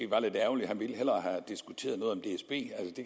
var lidt ærgerligt han ville hellere